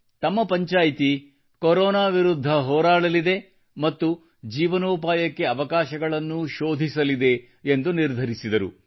ತಮ್ಮ ಪಂಚಾಯ್ತಿ ಕೊರೊನಾ ವಿರುದ್ಧ ಹೋರಾಡಲಿದೆ ಮತ್ತು ಜೀವನೋಪಾಯಕ್ಕೆ ಅವಕಾಶಗಳನ್ನೂ ಶೋಧಿಸಲಿದೆ ಎಂದು ಜೈತೂನಾ ಬೇಗಂ ಅವರು ನಿರ್ಧರಿಸಿದರು